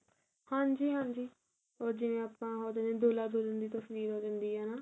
ਹਾਂਜੀ ਹਾਂਜੀ ਉਹ ਜਿਵੇਂ ਆਪਾਂ ਉਹਦੇ ਵਿੱਚ ਦੁਹਲਾ ਦੁਹਲਣ ਦੀ ਤਸਵੀਰ ਹੋ ਜਾਂਦੀ ਏ ਨਾ